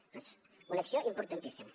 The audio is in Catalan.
doncs una acció importantíssima